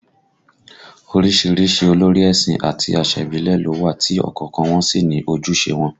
Orísìírísìí olórí ẹ̀sìn àti àṣà ìbílẹ̀ ló wà tí ọ̀kọ̀ọ̀kan wọn sì ní ojúṣe wọn